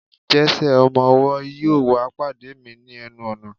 Jese, ọmọ ọwọ, yíò wá pade mi ni enu ọnà